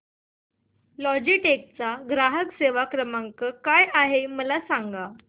Logitech चा ग्राहक सेवा क्रमांक काय आहे मला सांगा